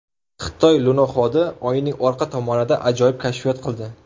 Xitoy lunoxodi Oyning orqa tomonida ajoyib kashfiyot qildi.